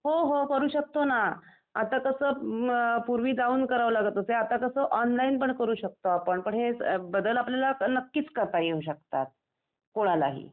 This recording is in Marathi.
हो हो .. करू शकतो ना . आता कसं पूर्वी जाऊन करावं लागत होते, आता कसे ऑनलाईन पण करू शकतो आपण पण हे बदल आपल्याला नक्कीच करता येऊ शकतात, कोणालाही .